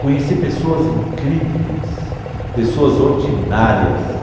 Conheci pessoas incríveis, pessoas ordinárias.